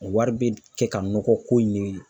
Wari bɛ kɛ ka nɔgɔ ko in de